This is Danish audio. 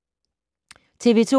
TV 2